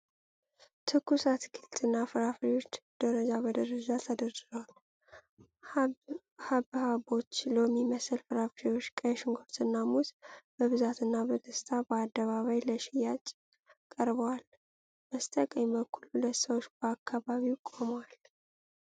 ትኩስ አትክልትና ፍራፍሬዎች ደረጃ በደረጃ ተደርድረዋል። ሐብሐቦች፣ ሎሚ መሰል ፍሬዎች፣ ቀይ ሽንኩርትና ሙዝ በብዛትና በደስታ በአደባባይ ለሽያጭ ቀርበዋል። በስተቀኝ በኩል ሁለት ሰዎች በአካባቢው ቆመዋል።